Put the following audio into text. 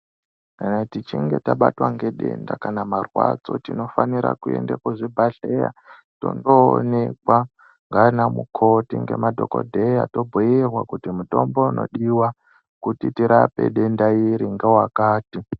Kana tichinge tabatwa nge denda kana marwadzo tinofanira kuende kuzvi bhadhleya tondo onekwa ngana mukoti nge madhokodheya tobhuyirwa kuti mutombo unodiwa kuti tirape denda iri ngewakati.